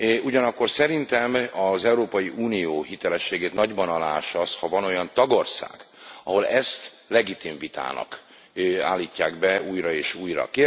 Ugyanakkor szerintem az Európai Unió hitelességét nagyban aláássa az, ha van olyan tagország, ahol ezt legitim vitának állítják be újra és újra.